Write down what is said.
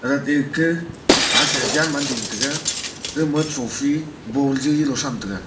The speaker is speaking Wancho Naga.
aga tetkeh hasha jhiam man tiga aga ma trophy ball zali sham tega.